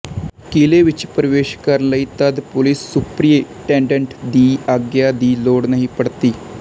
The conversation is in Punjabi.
ਕਿਲੇ ਵਿੱਚ ਪਰਵੇਸ਼ ਕਰਣ ਲਈ ਤਦ ਪੁਲਿਸ ਸੁਪਰਿਟੇਂਡੇਂਟ ਦੀ ਆਗਿਆ ਦੀ ਲੋੜ ਨਹੀਂ ਪਡਤੀ